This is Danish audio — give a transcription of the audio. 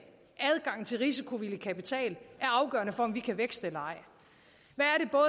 adgang til risikovillig kapital er afgørende for om vi kan vækste eller